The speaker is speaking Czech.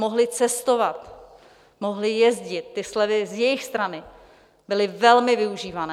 Mohli cestovat, mohli jezdit, ty slevy z jejich strany byly velmi využívané.